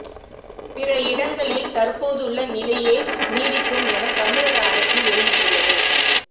பிற இடங்களில் தற்போதுள்ள நிலையே நீடிக்கும் என தமிழக அரசு வெளியிட்டுள்ளது